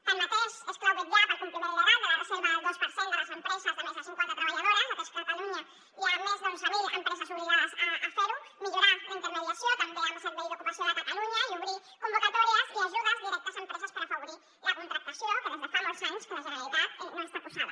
tanmateix és clau vetllar pel compliment legal de la reserva del dos per cent de les empreses de més de cinquanta treballadores atès que a catalunya hi ha més d’onze mil empreses obligades a fer ho millorar la intermediació també amb el servei d’ocupació de catalunya i obrir convocatòries i ajudes directes a empreses per afavorir la contractació que des de fa molts anys la generalitat no hi està posada